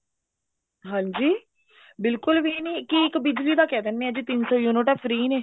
ਹਾਂਜੀ ਬਿਲਕੁਲ ਵੀ ਨੀ ਕੀ ਇੱਕ ਬਿਜਲੀ ਦਾ ਕਿਹ ਦਿੰਦੇ ਨੇ ਵੀ ਤਿੰਨ ਸੋ ਯੂਨਿਟਾਂ free ਨੇ